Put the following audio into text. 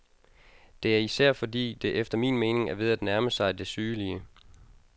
Det er især, fordi det efter min mening er ved at nærme sig det sygelige.